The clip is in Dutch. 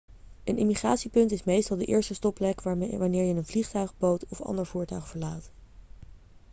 een immigratiepunt is meestal de eerste stopplek wanneer je een vliegtuig boot of ander voertuig verlaat